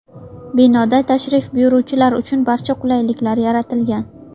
Binoda tashrif buyuruvchilar uchun barcha qulayliklar yaratilgan.